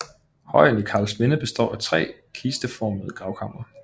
Højen i Karlsminde består af tre kisteformede gravkamre